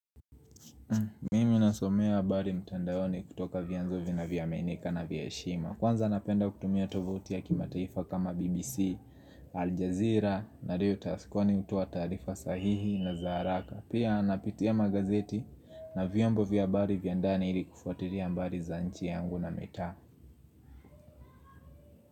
Mimi nasomea habari mtandaoni kutoka vyanzo vinavyaminika na vya heshima. Kwanza napenda kutumia tovoti ya kimataifa kama BBC, Aljazeera na leo taskwani hutoa taarifa sahihi na za haraka. Pia napitia magazeti na vyombo vya habari vya ndani ili kufuatilia habari za nchi yangu na mitaa.